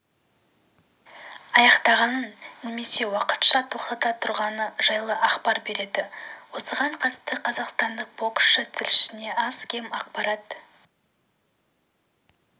аяқтағаны немесе уақытша тоқтата тұрғаны жайлы ақпар береді осыған қатысты қазақстандық боксшы тілшісіне аз-кем ақпарат